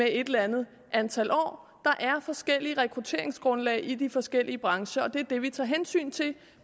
et eller andet antal år der er forskellige rekrutteringsgrundlag i de forskellige brancher og det er det vi tager hensyn til